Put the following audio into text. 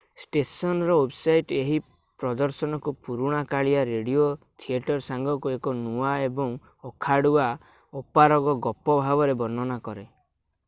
ଷ୍ଟେସନର ୱେବସାଇଟ୍ ଏହି ପ୍ରଦର୍ଶନକୁ ପୁରୁଣା କାଳିଆ ରେଡିଓ ଥିଏଟର ସାଙ୍ଗକୁ ଏକ ନୂଆ ଏବଂ ଅଖାଡ଼ୁଆ ଅପାରଗ ଗପ ଭାବରେ ବର୍ଣ୍ଣନା କରେ i